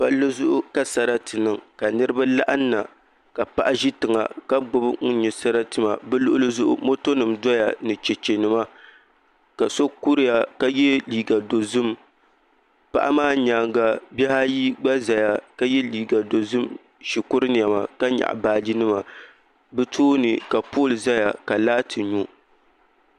Palli zuɣu ka sarati niŋ ka niraba laɣamna ka paɣa ʒi tiŋa ka gbubi ŋun nyɛ sarati maa bi luɣuli zuɣu moto nim doya ni chɛchɛ nima ka so kuriya ka yɛ liiga dizim paɣa maa nyaanga bihi ayi gba ʒɛya ka yɛ liiga dozim shikuru niɛma ka nyaɣa baaji nima bi tooni ka pool ʒɛya ka laati nyo